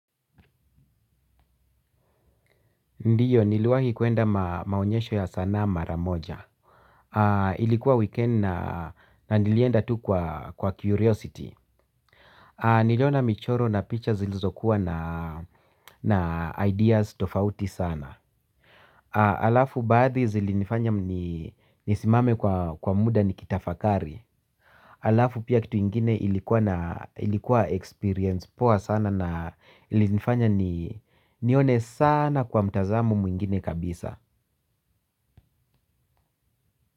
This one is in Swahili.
Ndiyo, niliwahi kuenda maonyesho ya sanaa maramoja. Ilikuwa weekend na nilienda tu kwa curiosity. Niliona michoro na picha zilizokuwa na ideas tofauti sana. Alafu baadhi zilinifanya nisimame kwa muda nikitafakari. Alafu pia kitu ingine ilikuwa experience poa sana na ilinifanya ni nione sana kwa mtazamu mwingine kabisa.